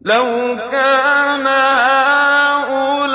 لَوْ كَانَ هَٰؤُلَاءِ